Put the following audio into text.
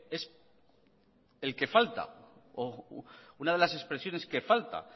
es el que falta o una de las expresiones que falta